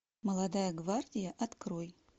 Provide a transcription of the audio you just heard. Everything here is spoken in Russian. молодая гвардия открой